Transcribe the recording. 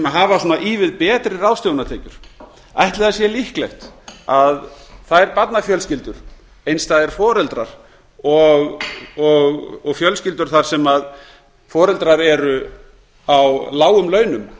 hafa svona ívið betri ráðstöfunartekjur ætli það sé líklegt að þær barnafjölskyldur einstæðir foreldrar og fjölskyldur þar sem foreldrar eru á lágum launum